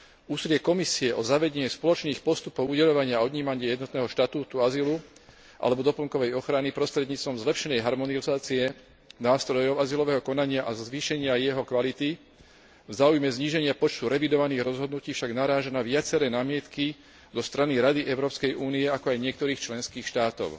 Úsilie Komisie o zavedenie spoločných postupov udeľovania a odnímania jednotného štatútu azylu alebo doplnkovej ochrany prostredníctvom zlepšenej harmonizácie nástrojov azylového konania a zvýšenia jeho kvality v záujme zníženia počtu revidovaných rozhodnutí však naráža na viaceré námietky zo strany Rady Európskej únie, ako aj niektorých členských štátov.